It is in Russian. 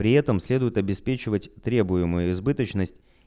при этом следует обеспечивать требуемую избыточность